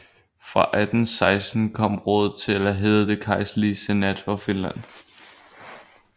Fra 1816 kom rådet til at hedde Det kejserlige senat for Finland